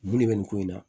Mun de bɛ nin ko in na